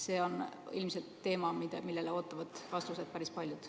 See on ilmselt teema, millele ootavad vastuseid päris paljud.